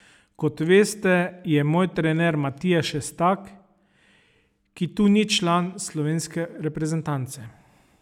Kot veste, je moj trener Matija Šestak, ki tu ni član slovenske reprezentance.